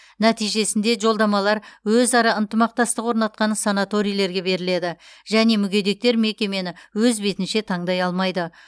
нәтижесінде жолдамалар өзара ынтымақтастық орнатқан санаторийлерге беріледі және мүгедектер мекемені өз бетінше таңдай алмайды